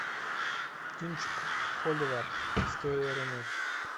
кинчик холивар история рунета